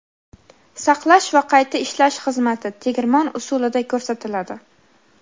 saqlash va qayta ishlash xizmati (tegirmon usulida) ko‘rsatiladi.